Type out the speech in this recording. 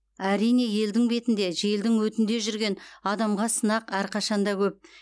әрине елдің бетінде желдің өтінде жүрген адамға сынақ әрқашанда көп